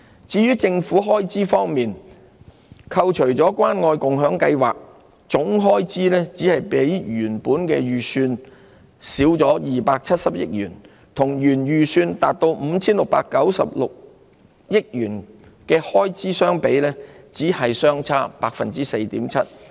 至於政府開支方面，扣除關愛共享計劃，總開支只比原本預算少270億元，與原預算達 5,696 億元的開支相比，只是相差 4.7%。